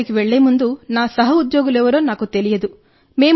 అక్కడికి వెళ్ళే ముందు నా సహోద్యోగులు ఎవరో నాకు తెలియదు